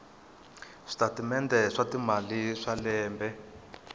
switatimende swa timali swa lembe